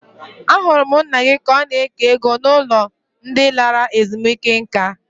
Ahụrụ m nna gị ka ọ na-eke ego n'ụlọ ndị lara ezumike nka.